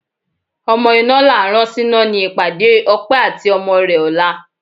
Ọmọ iná là á rán síná ni ìpàdé Ọpẹ́ àti ọmọ rẹ ọ̀la